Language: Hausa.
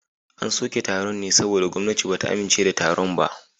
An soke taron ne saboda gwamnati ba ta amince da taron ba